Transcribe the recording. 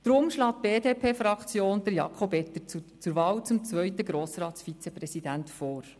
Darum schlägt die BDP-Fraktion Jakob Etter zur Wahl zum zweiten Grossratsvizepräsidenten vor.